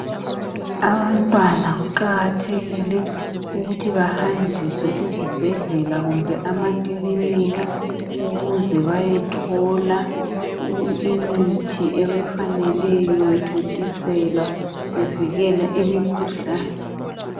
Abantwanakuqakathekile ukuthi bahanjiswe ezibhedlela kumbe amakilinika ukuze bayethola imithi ebayifanele bethontuselwa bevikela imikhuhlane.